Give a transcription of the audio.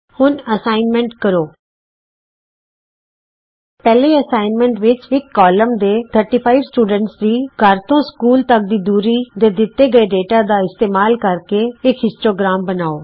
ਹੁਣ ਅਸਾਈਨਮੈਂਟ ਕਰੋ ਪਹਿਲੇ ਅਸਾਈਨਮੈਂਟ ਵਿਚ ਇਕ ਕਲਾਸ ਦੇ 35 ਵਿਦਿਆਰਥੀਆਂ ਦੀ ਘਰ ਤੋਂ ਸਕੂਲ ਤਕ ਦੀ ਦੂਰੀ ਦੇ ਦਿਤੇ ਗਏ ਡੇਟਾ ਦਾ ਇਸਤੇਮਾਲ ਕਰਕੇ ਦਾ ਇਕ ਹਿਸਟੋਗ੍ਰਾਮ ਬਣਾਉ